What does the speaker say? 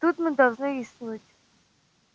тут мы должны рискнуть